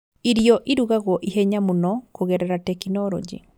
Irio irugagwo ihenya mũno kũgerera tekinoronjĩ